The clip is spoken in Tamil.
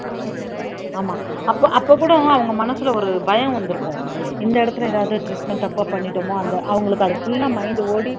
ஆமா அப்ப அப்ப கூட அவங்க மனசுல ஒரு பயம் வந்திருக்கும் இந்த இடத்துல ஏதாவது treatment தப்பா பண்ணிட்டோமோ அந்த அவங்களுக்கு அது full ஆ mind ஓடி